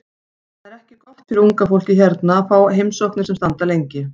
Það er ekki gott fyrir fólkið hérna að fá heimsóknir sem standa lengi.